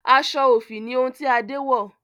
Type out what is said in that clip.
aṣọ òfì ni ohun ti Ade wọ